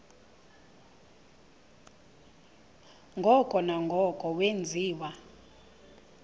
ngoko nangoko wenziwa